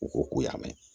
U ko k'u y'a mɛn